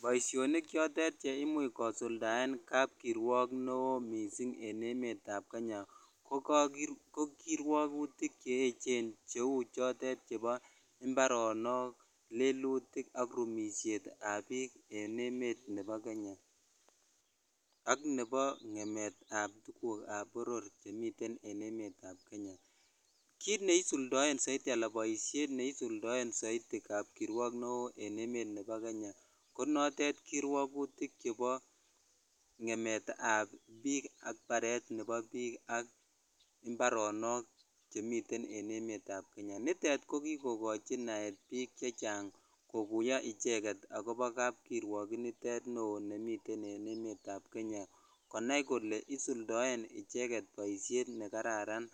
Boishonik chotet cheimuch kosuldaen kapkirwok neoo mising en emetab Kenya ko kirwokutik che echen cheu chotet chebo mbaronok, lelutik ak rumishetab biik en emet nebo Kenya ak nebo ngemetab tukukab boror chemiten en emetab Kenya, kiit neisuldoen soiti alaan boishet neisuldoen soiti kapkirwok neoo en emet nebo Kenya konotet koirwokutik chebo ng'emetab biik ak baret nebo biik ak mbaronok chemiten en emetab Kenya nitet ko kikokochi naet biik chechang kokuyo iicheket ak kobo kapkirwok initet neoo nemiten en emetab Kenya konaii kolee isuldoen icheket boishet nekararan